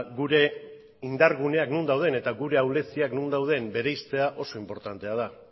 gure indar guneak non dauden eta gure ahuleziak non dauden bereiztea oso inportantea da